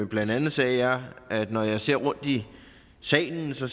blandt andet sagde jeg at når jeg ser rundt i salen ser